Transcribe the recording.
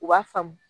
U b'a faamu